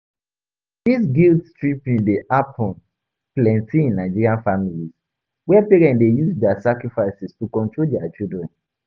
Dis guilt-tripping dey happen plenty in Nigerian families where parents dey use dia sacrifices to control dia children.